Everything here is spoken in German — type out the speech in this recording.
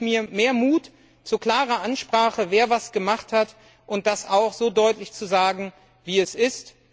Da wünsche ich mir mehr Mut zu klarer Ansprache, wer was gemacht hat und das auch so deutlich zu sagen, wie es ist.